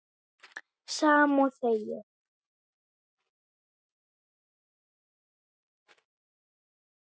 Sama og þegið.